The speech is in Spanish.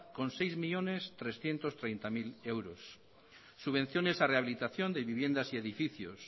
con seis millónes trescientos treinta mil euros subvenciones a rehabilitación de viviendas y edificios